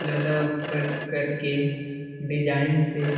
ऊपर कर के डिजाइन से --